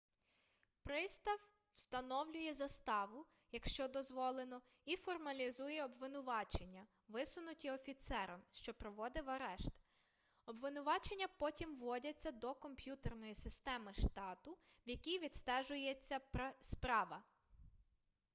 пристав встановлює заставу якщо дозволено і формалізує обвинувачення висунуті офіцером що проводив арешт обвинувачення потім вводяться до комп'ютерної системи штату в якій відстежується справа